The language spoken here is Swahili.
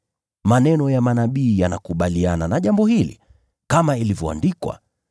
Maneno ya manabii yanakubaliana na jambo hili, kama ilivyoandikwa: